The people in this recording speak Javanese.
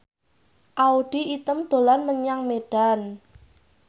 Audy Item dolan menyang Medan